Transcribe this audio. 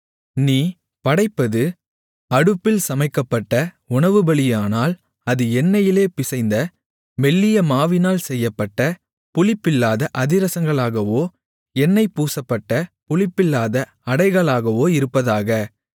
நீ படைப்பது அடுப்பில் சமைக்கப்பட்ட உணவுபலியானால் அது எண்ணெயிலே பிசைந்த மெல்லிய மாவினால் செய்யப்பட்ட புளிப்பில்லாத அதிரசங்களாகவோ எண்ணெய் பூசப்பட்ட புளிப்பில்லாத அடைகளாகவோ இருப்பதாக